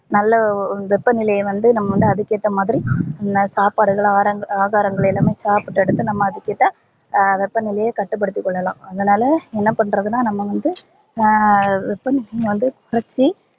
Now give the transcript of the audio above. நல்ல வெப்பநிலைய வந்து நம்ப அதுக்கு ஏத்தா மாதிரி சாப்பாடு எல்லா ஆகாரங்கள் எல்லாமே அதுக் கேத்த வெப்பநிலையை கட்டு படுத்திக்கொள்ளலாம் அதுனால என்ன பண்றதுனா நம்ப வந்து அஹ் வெப்பநிலையை வந்து கொறச்சி